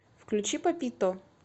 включи папито